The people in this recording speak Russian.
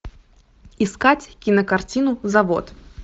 искать кинокартину завод